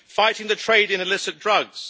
fighting the trade in illicit drugs